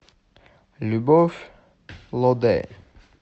любовь лодэ